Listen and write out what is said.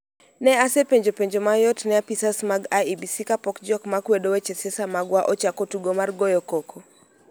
Ne asepenjo penjo mayot ne apisas mag IEBC kapok jok ma kwedo weche siasa magwa ochako tugo mar goyo koko.